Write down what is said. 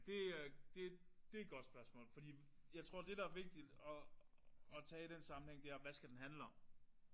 Det er det det er et godt spørgsmål. Fordi jeg tror det der er vigtigt at at tage i den sammenhæng det er hvad skal den handle om?